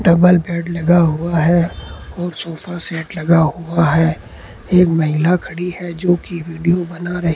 double bed लगा हुआ है और सोफा सेट लगा हुआ है एक महिला खड़ी है जो की वीडियो बना रही--